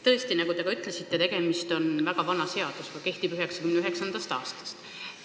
Tõesti, nagu te ka ütlesite, tegemist on väga vana seadusega, see kehtib 1999. aastast.